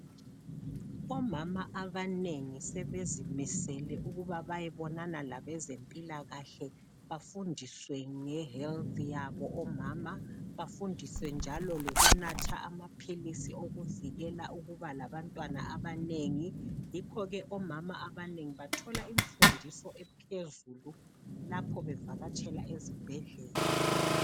Omama abanengi sebezimisele ukuba bayebonana labezempilakahle bafundiswe nge health yabo omama, bafundiswe njalo lokunatha amaphilisi okuvikela ukuba labantwana abanengi. Yikho omama abanengi bathola imfundiso ephezulu lapho bevakatshela ezibhedlela.